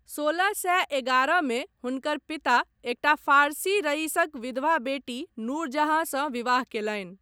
सोलह सए एगारहमे हुनकर पिता एकटा फारसी रईसक विधवा बेटी नूरजहाँसँ विवाह कयलनि।